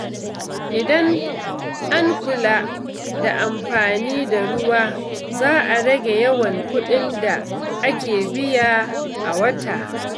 Idan an kula da amfani da ruwa, za a rage yawan kuɗin da ake biya a wata.